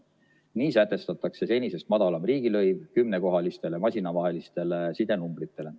Nii sätestatakse senisest madalam riigilõiv kümnekohalistele masinatevahelise side numbritele.